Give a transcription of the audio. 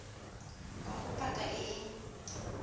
ga go paka e e